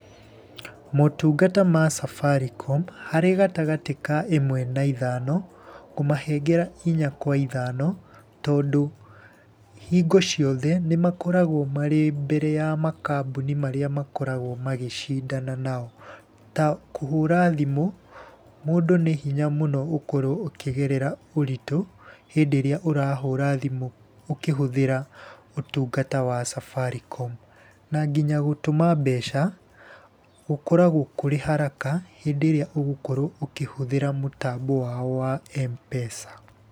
Motungata ma Safaricom, harĩ gatagatĩ ka ĩmwe na ithano, ngũmahengera ĩnya kwa ithano, tondũ hingo ciothe nĩ makoragwo marĩ mbere ya makambuni marĩa makoragwo magĩcindana nao. Ta kũhũra thimũ mũndũ nĩ hinya mũno ũkorwo ũkĩgerea ũritũ hĩndĩ ĩrĩa ũrahũra thimũ ũkĩhũthĩra ũtungata wa Safaricom. Na nginya gũtũma mbeca gũkoragwo kũrĩ haraka, hĩndĩ ĩrĩa ũgũkorwo ũkĩhũthĩra mũtambo wao wa Mpesa.